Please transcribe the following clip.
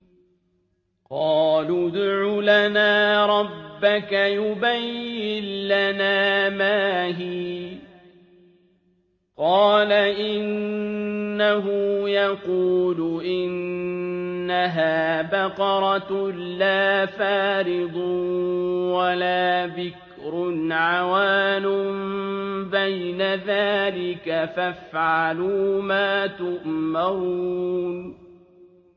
قَالُوا ادْعُ لَنَا رَبَّكَ يُبَيِّن لَّنَا مَا هِيَ ۚ قَالَ إِنَّهُ يَقُولُ إِنَّهَا بَقَرَةٌ لَّا فَارِضٌ وَلَا بِكْرٌ عَوَانٌ بَيْنَ ذَٰلِكَ ۖ فَافْعَلُوا مَا تُؤْمَرُونَ